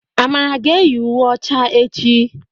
Amara ga-eyi uwe ọcha echi.